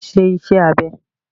Ṣé ìṣe abẹ́!